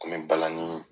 Kun bɛ balani